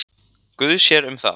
Guð sér um það.